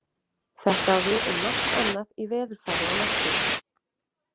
Þetta á við um margt annað í veðurfari og náttúru.